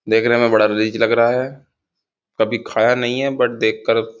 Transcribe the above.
देखने में बड़ा रीज लग रहा है कभी खाया नहीं है बट देखकर --